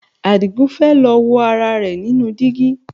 Àdìgún fẹ́ lọ wo ara rẹ̀ nínú dígí